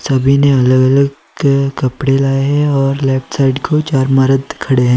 सभी ने अलग अलग के कपड़े लाए हैं और लेफ्ट साइड को चार मरद खड़े--